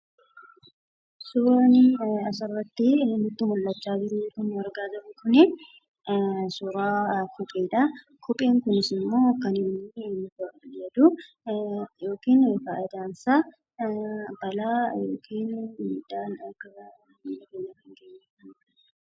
Suuraan asirratti nutti mul'achaa jiru kun suuraa kopheedha. Kopheen kunis immoo kan inni fayyadu balaa miilla keenyarra akka hin geenye ittisuufi.